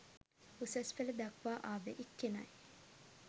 උසස් පෙළ දක්වා ආවේ එක්කෙනයි